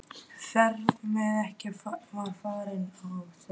Ferð sem ekki var farin- og þó!